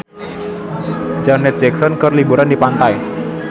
Janet Jackson keur liburan di pantai